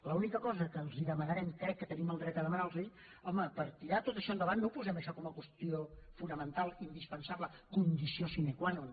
l’única cosa que els demanarem crec que tenim el dret a demanar los ho home per tirar tot això endavant no posem això com a qüestió fonamental indispensable condició sine qua non